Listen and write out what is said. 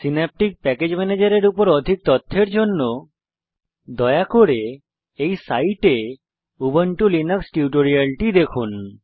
Synaptic package manager এর উপর অধিক তথ্যের জন্য দয়া করে http spoken tutorialঅর্গ তে উবুন্টু লিনাক্স টিউটোরিয়ালটি দেখুন